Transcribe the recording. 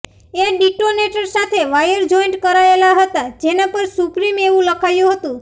એ detonator સાથે wire joint કરાયેલા હતા જેનાં પર સુપ્રિમ એવુ લખાયું હતું